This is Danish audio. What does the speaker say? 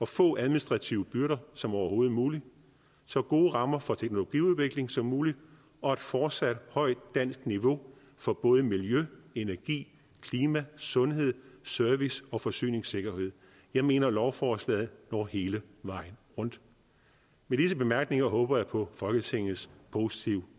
få administrative byrder som overhovedet muligt så gode rammer for teknologiudvikling som muligt og et fortsat højt dansk niveau for både miljø energi klima sundhed service og forsyningssikkerhed jeg mener lovforslaget når hele vejen rundt med disse bemærkninger håber jeg på folketingets positive